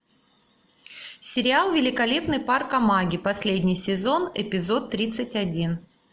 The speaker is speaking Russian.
сериал великолепный парк амаги последний сезон эпизод тридцать один